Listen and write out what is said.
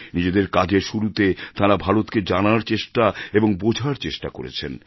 নিজেদের কাজের শুরুতে তাঁরা ভারতকে জানার এবং বোঝার চেষ্টা করেছেন